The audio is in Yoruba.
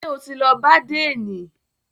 Ṣé o ti lọ bá àdénì?